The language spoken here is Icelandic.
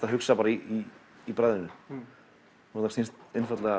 að hugsa í bragðinu og það snýst einfaldlega